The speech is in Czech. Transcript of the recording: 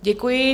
Děkuji.